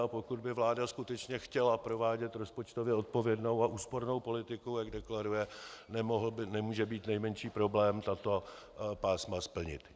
A pokud by vláda skutečně chtěla provádět rozpočtově odpovědnou a úspornou politiku, jak deklaruje, nemůže být nejmenší problém tato pásma splnit.